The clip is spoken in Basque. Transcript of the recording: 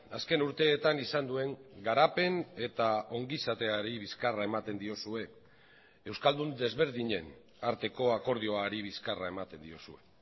azken urteetan izan duen garapen eta ongizateari bizkarra ematen diozue euskaldun desberdinen arteko akordioari bizkarra ematen diozue